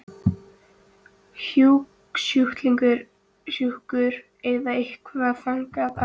Hugsjúkur eða eitthvað þaðan af verra.